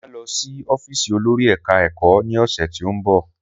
Mà á lọ sí ọ́fíìsì Olori eka-eko ní ọ̀sẹ̀ tó ń bọ̀.